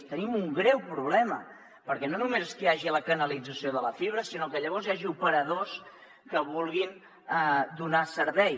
hi tenim un greu problema perquè no només és que hi hagi la canalització de la fibra sinó que llavors hi hagi operadors que hi vulguin donar servei